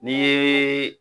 Ni yee